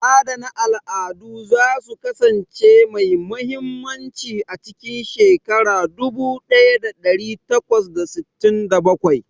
Adana al'adu za su kasance mai mahimmanci a cikin shekara dubu ɗaya ɗari takwas da sittin da bakwai.